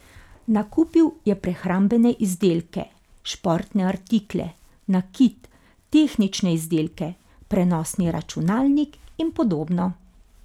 Nakupil je prehrambene izdelke, športne artikle, nakit, tehnične izdelke, prenosni računalnik in podobno.